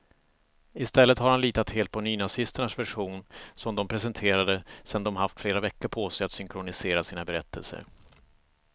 I stället har han litat helt på nynazisternas version, som de presenterade sedan de haft flera veckor på sig att synkronisera sina berättelser.